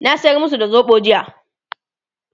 na sayar masu da soɓo jiya